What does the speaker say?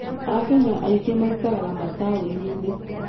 Akenya aingĩ maikaraga mataũni-inĩ.